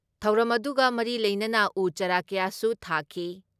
ꯊꯧꯔꯝ ꯑꯗꯨꯒ ꯃꯔꯤ ꯂꯩꯅꯅ ꯎ ꯆꯥꯔꯥ ꯀꯌꯥꯁꯨ ꯊꯥꯈꯤ ꯫